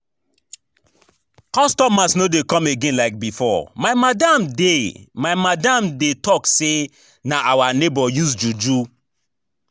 Customers no dey come again like before, my madam dey my madam dey talk say na our neigbour use juju